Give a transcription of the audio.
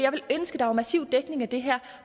der var massiv dækning af det her